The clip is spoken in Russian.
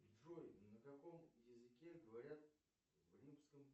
джой на каком языке говорят в римском